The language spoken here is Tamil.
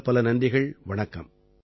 பலப்பல நன்றிகள் வணக்கம்